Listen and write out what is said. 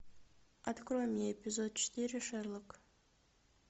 открой мне эпизод четыре шерлок